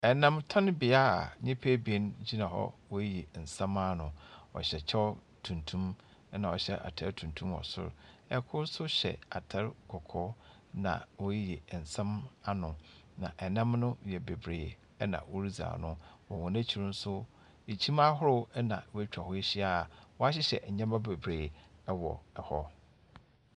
Namtɔnbea a nyimpa ebien gyina hɔ, woriyiyi nsɛm ano, ɔhyɛ kyɛw tuntum na ɔhyɛ atar tuntum wɔ sor. Kor so hyɛ atar kɔkɔɔ na woriyiyi nsɛm ano. Na nam no yɛ bebree na woridzi ano. Wɔ hɔn ekyir no so, kyim ahorow na woetwa hɔ ehyia a wɔahyehyɛ ndzɛmba bebree wɔ hɔ.